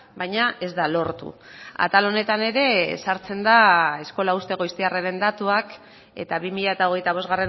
baina ez da lortu atal honetan ere sartzen da eskola uzte goiztiarraren datuak eta bi mila hogeita bost